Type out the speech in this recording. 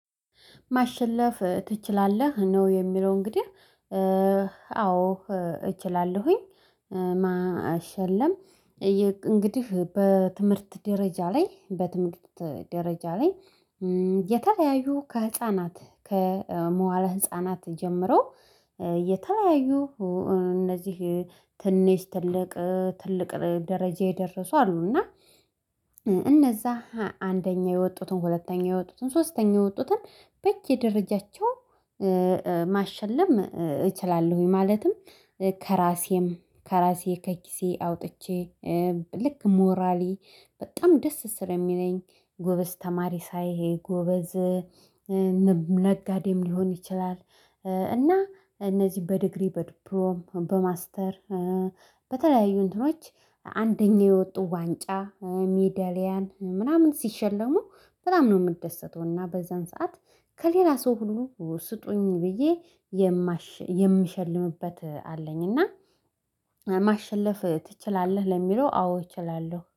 ማሸለፍ ትችላለህ ነው የሚለው? እንግዲህ አዎ እችላለሁኝ ማሸለም። እንግዲህ በትምህርት ደረጃ ላይ በትምህርት ደረጃ ላይ የተለያዩ ከህፃናት ከመዋለ ህፃናት ጀምሮ የተለያዩ እነዚህ ትንሽ ትልቅ ትልቅ ደረጃ የደረሱ አሉ። እና እነዛ አንደኛ የወጡትን ሁለተኛ የወጡትን ሶስተኛ የወጡትን በየደረጃቸው ማሸለም እችላለሁኝ። ማለትም ከራሴም ከራሴ ከኪሴ አውጥቼ ልክ ሞራሊ በጣም ደስ ስለሚለኝ ጎበዝ ተማሪ ሳይ ይሄ ጎበዝ ነጋዴም ሊሆን ይችላል። እና እነዚህ በዲግሪ በድፕሎም በማስተር በተለያዩ እንትኖች አንደኛ የወጡ ዋንጫ ሚዳሊያን ምናምን ሲሸለሙ በጣም ነው የምደሰተው። እና በዛን ሰዓት ከሌላ ሰው ሁሉ ስጡኝ ብዬ የምሸልምበት አለኝና። ትችላለህ ለሚለው አዎ እችላለሁ።